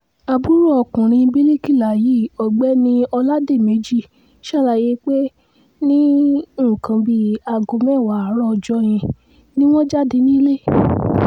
àbúrò ọkùnrin bíríkìlà yìí ọ̀gbẹ́ni ọládèméjì ṣàlàyé pé ní nǹkan bíi aago mẹ́wàá àárọ̀ ọjọ́ yẹn ni wọ́n jáde nílẹ̀